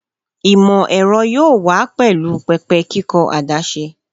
Imọ-ẹrọ yoo wa pẹlu pẹpẹ kikọ adaṣe